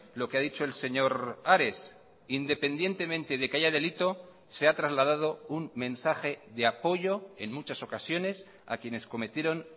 lo que ha dicho el señor ares independientemente de que haya delito se ha trasladado un mensaje de apoyo en muchas ocasiones a quienes cometieron